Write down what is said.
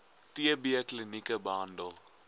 tb klinieke behandel